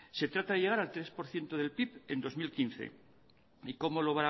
se trata de llegar al tres por ciento del pib en bi mila hamabost y cómo lo